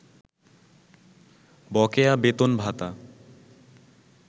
বকেয়া বেতন-ভাতা